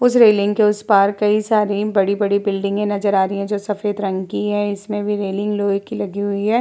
उस रेलिंग के उस पर कई सारी बड़ी बड़ी बिल्डिंगे नजर आ रही हैं जो सफेद रंग की हैं। इसमें भी रोलिंग लोहे की लगी हुई है।